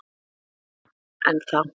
Það er bara. ennþá.